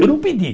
Eu não pedi.